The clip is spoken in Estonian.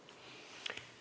Aitäh!